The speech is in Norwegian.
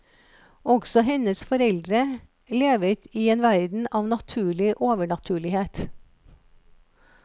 Også hennes foreldre levet i en verden av naturlig overnaturlighet.